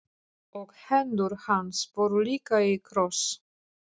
Og hendur hans voru líka í kross.